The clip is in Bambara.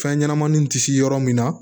Fɛn ɲɛnɛmaninw tɛ se yɔrɔ min na